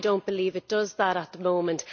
I do not believe it does that at the moment.